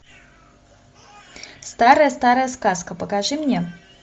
старая старая сказка покажи мне